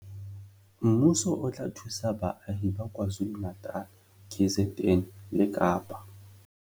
Mmuso o tla thusa baahi ba KwaZulu-Natal, KZN, le Kapa